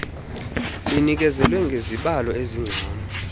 inikezele ngezibalo ezingcono